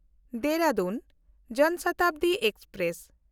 Dehradun Jan Shatabdi express